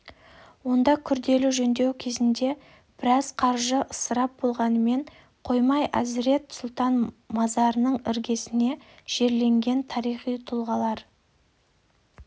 онда күрделі жөндеу кезінде біраз қаржы ысырап болғанымен қоймай әзірет сұлтан мазарының іргесіне жерленген тарихи тұлғалар